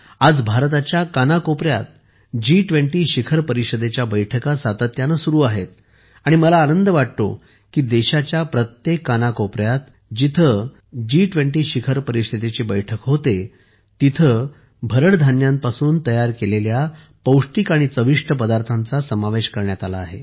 आज भारताच्या कानाकोपऱ्यात जी20 शिखर परिषदेच्या बैठका सातत्याने सुरू आहेत आणि मला आनंद वाटतो की देशाच्या प्रत्येक कानाकोपऱ्यात जिथे जिथे जी20 शिखर परिषदेची बैठक होते आहे तिथे भरड धान्यांपासून तयार केलेल्या पौष्टिक आणि चविष्ट पदार्थांचा समावेश करण्यात आला आहे